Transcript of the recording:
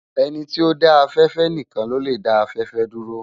Eni ti ó dã áfèfè nikán ló lè dá áfèfè dúró